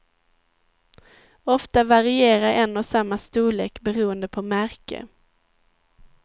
Ofta varierar en och samma storlek beroende på märke.